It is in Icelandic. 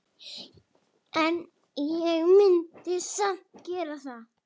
En ég myndi samt gera það.